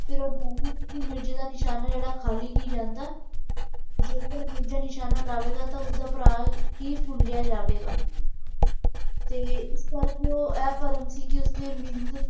ਉਹ ਜਾਣਦੀ ਸੀ ਕਿ ਮਿਰਜੇ ਦਾ ਨਿਸ਼ਾਨਾ ਜਿਹੜਾ ਖਾਲੀ ਨਹੀਂ ਜਾਂਦਾ ਤੇ ਜੇਕਰ ਮਿਰਜ਼ਾ ਨਿਸ਼ਾਨਾ ਲਾਵੇਗਾ ਤੇ ਉਸਦਾ ਭਰਾ ਹੀ ਜਾਵੇਗਾ ਤੇ ਇਸ ਕਰਕੇ ਉਹ ਇਹ ਭਰਮ ਸੀ ਕਿ ਉਸਨੇ ਮਿਨ।